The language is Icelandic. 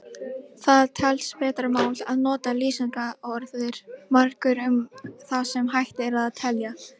Það telst betra mál að nota lýsingarorðið margur um það sem hægt er að telja.